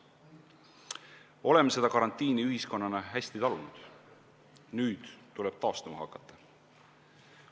Oleme karantiini ühiskonnana hästi talunud, nüüd tuleb taastuma hakata.